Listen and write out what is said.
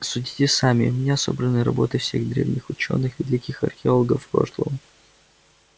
судите сами у меня собраны работы всех древних учёных великих археологов прошлого